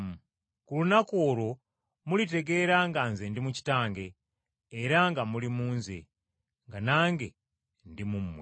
Ku lunaku olwo mulitegeera nga Nze ndi mu Kitange, era nga muli mu Nze, nga nange ndi mu mmwe.